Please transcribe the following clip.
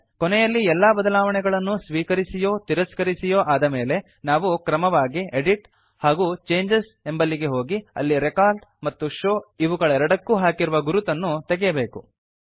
ಕೊನೆಯಲ್ಲಿ ಎಲ್ಲ ಬದಲಾವಣೆಗಳನ್ನು ಸ್ವೀಕರಿಸಿಯೋ ತಿರಸ್ಕರಿಸಿಯೋ ಆದಮೇಲೆ ನಾವು ಕ್ರಮವಾಗಿ ಎಡಿಟ್ ಹಾಗೂ ಚೇಂಜಸ್ ಎಂಬಲ್ಲಿಗೆ ಹೋಗಿ ಅಲ್ಲಿ ರೆಕಾರ್ಡ್ ಮತ್ತು ಶೋವ್ ಇವುಗಳೆರಡಕ್ಕೂ ಹಾಕಿರುವ ಗುರುತುಗಳನ್ನು ತೆಗೆಯಬೇಕು